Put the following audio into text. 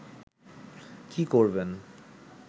কি করবেন